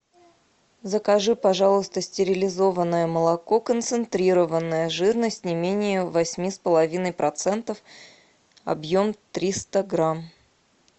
закажи пожалуйста стерилизованное молоко концентрированное жирность не менее восьми с половиной процентов объем триста грамм